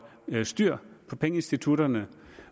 styr på pengeinstitutterne